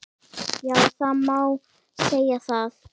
Já það má segja það.